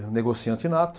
Negociante nato.